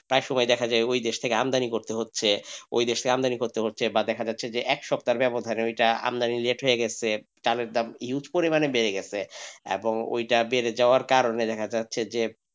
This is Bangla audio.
একসময় দেখা যাই ওই দেশ থেকে আমদানি করতে হচ্ছে ওই দেশ থেকে আমদানি করতে হচ্ছে, বা দেখা যাচ্ছে যে এক সপ্তাহের ব্যবধানে ঐটা আমদানি reject হয়ে গেসে চালের দাম huge পরিমানে বেড়ে গেছে, এবং ঐটা বেড়ে যাওয়ার কারণ এ দেখা যাচ্ছে যে।